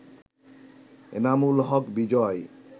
Enamul Haque Bijoy